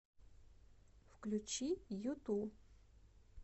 включи юту